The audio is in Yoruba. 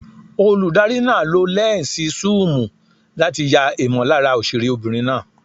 Olùdarí náà lo lẹ́ǹsì súùmù láti ya ìmọ̀lára òṣèré obìnrin náà.